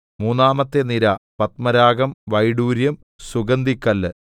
മൂന്നാമത്തെ നിര പത്മരാഗം വൈഡൂര്യം സുഗന്ധിക്കല്ല്